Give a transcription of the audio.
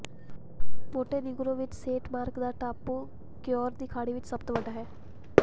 Montenegro ਵਿਚ Saint Mark ਦਾ ਟਾਪੂ ਕਿਓਰ ਦੀ ਖਾੜੀ ਵਿਚ ਸਭ ਤੋਂ ਵੱਡਾ ਹੈ